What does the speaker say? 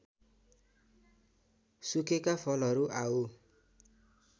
सुकेका फलहरू आउँ